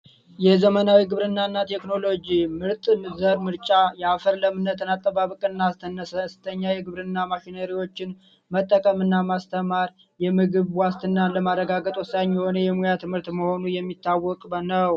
የዘመናዊ ግብርናና ቴክኖሎጂ ምርጥ ዘር ምርጫ የአፈር ለምነትን አጠባበቅና አነስተኛ ማሽን መጠቀም እና ማስተማር የምግብ ዋስትናን ለማረጋገጥ ወሳኝ የሆነ የሙያ ትምህርት የሚታወቅ ነው።